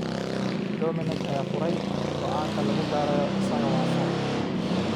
Domenech ayaa furay: "Go'aanka lagu baarayo isaga waa sax.